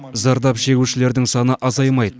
зардап шегушілердің саны азаймайды